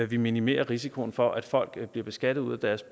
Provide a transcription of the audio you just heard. vi minimerer risikoen for at folk bliver beskattet ud af deres